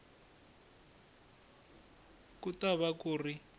ku ta va ku ri